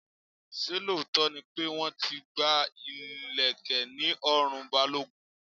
Ṣé lóòótọ́ ni pé wọ́n ti gba ileke ní ọrùn Balogun?